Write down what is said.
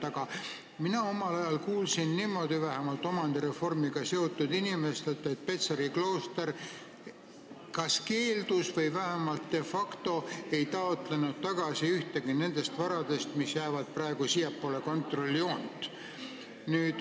Aga mina kuulsin omal ajal omandireformiga seotud inimestelt, et Petseri klooster kas keeldus taotlemast või vähemalt de facto ei taotlenud tagasi ühtegi nendest varadest, mis jäävad praegu siiapoole kontrolljoont.